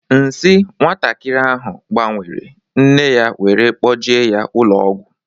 Nsi nwatakịrị ahu gbanwere, nne ya wéré kpoje ya ụlọ ọgwụ